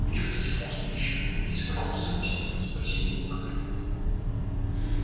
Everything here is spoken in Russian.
вы чувствуете вкус пищи если проходите сквозь нее спросил его гарри